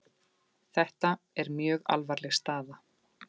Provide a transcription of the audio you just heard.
Þetta er mjög alvarleg staða